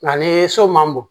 Nka ni so ma bon